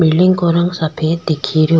Building का रंग सफ़ेद दीख रो।